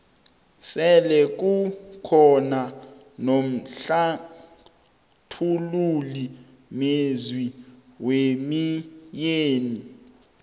sele kukhona nomhlathululi mezwi wemoyeni